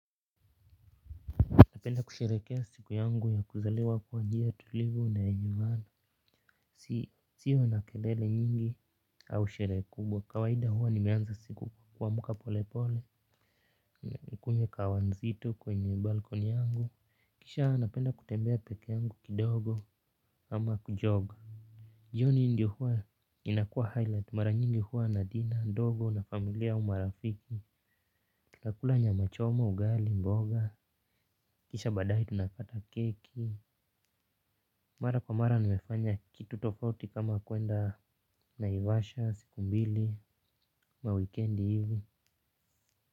Napenda kusherehekea siku yangu ya kuzaliwa kwa njia tulivu na yenye maana. Sio na kelele nyingi au sherehe kubwa. Kawaida huwa nimeanza siku kuamuka pole pole. Kunywa kahawa nzito kwenye balkoni yangu. Kisha napenda kutembea peke yangu kidogo ama ku-jog. Jioni ndio hua inakuwa highlight. Mara nyingi huwa na dina, ndogo na familia au marafiki. Kila kula nyama choma, ugali, mboga. Kisha baadaye tunakata keki. Mara kwa mara nimefanya kitu tofauti kama kuenda naivasha siku mbili ama wikendi hivi.